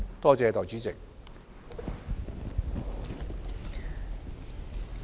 多謝代理主席。